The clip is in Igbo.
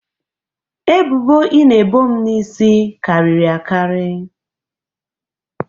ebubo ị na-ebo m n'isi karịrị akarị